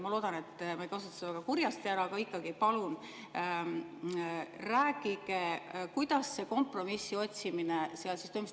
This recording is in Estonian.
Ma loodan, et ma ei kasuta seda väga kurjasti ära, aga palun rääkige, kuidas see kompromissi otsimine seal toimus.